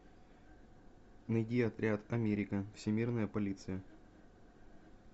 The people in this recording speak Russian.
найди отряд америка всемирная полиция